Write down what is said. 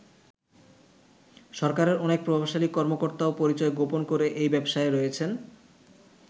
সরকারের অনেক প্রভাবশালী কর্মকর্তাও পরিচয় গোপন করে এই ব্যবসায় রয়েছেন।